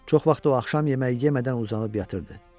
Çox vaxt o axşam yeməyi yemədən uzanıb yatırdı.